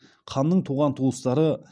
ханның туған туыстары